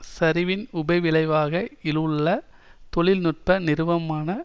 சரிவின் உபவிளைவாக இலுள்ள தொழில் நுட்ப நிறுவமான